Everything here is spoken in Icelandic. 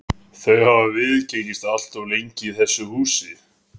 Þau hafa viðgengist allt of lengi í þessu húsi.